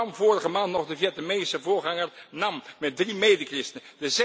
Dat overkwam vorige maand nog de Vietnamese voorganger Nam met drie medechristenen.